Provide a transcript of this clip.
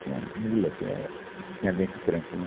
Tinha mula, que é quem aguenta o tranco, né?